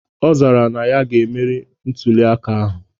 Ọ zara na ya ge-emeri na ntuli aka ahụ.